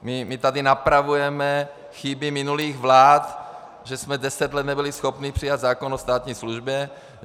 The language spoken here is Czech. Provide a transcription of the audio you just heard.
My tady napravujeme chyby minulých vlád, že jsme deset let nebyli schopni přijmout zákon o státní službě.